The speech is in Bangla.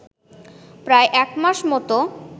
প্রায় একমাস মতো